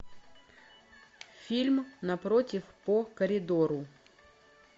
фильм напротив по коридору